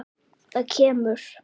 Það kemur.